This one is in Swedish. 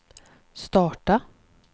starta